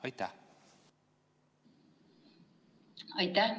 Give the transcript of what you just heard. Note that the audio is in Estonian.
Aitäh!